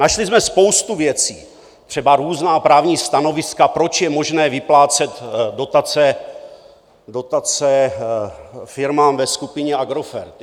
Našli jsme spoustu věcí, třeba různá právní stanoviska, proč je možné vyplácet dotace firmám ve skupině Agrofert.